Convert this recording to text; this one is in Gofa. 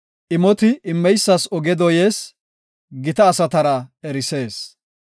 Imoti immeysas oge dooyees; gita asatara erisees.